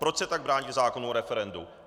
Proč se tak brání zákonu o referendu?